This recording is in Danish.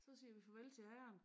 Så siger vi farvel til herren